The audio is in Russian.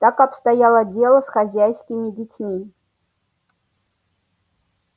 так обстояло дело с хозяйскими детьми